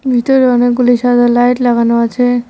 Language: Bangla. ভিতরে অনেকগুলি সাদা লাইট লাগানো আছে।